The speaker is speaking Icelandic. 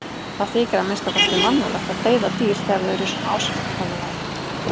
Það þykir að minnsta kosti mannúðlegt að deyða dýr þegar þau eru í svona ásigkomulagi.